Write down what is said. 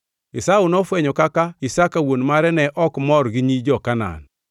Esau nofwenyo kaka Isaka wuon mare ne ok mor gi nyi jo-Kanaan.